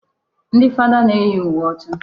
Ndị fada na-eyi uwe ọcha.